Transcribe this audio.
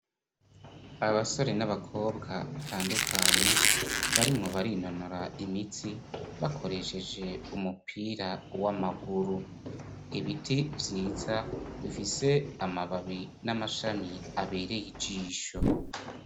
Abasore n'abakobwa batandukanye barimwo barinonora imitsi bakoresheje umupira w'amaguru. Ibiti vyiza bifise amababi n'amashami abereye ijisho.